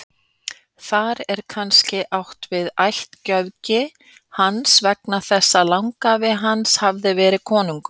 Þar er kannski átt við ættgöfgi hans vegna þess að langafi hans hafði verið konungur.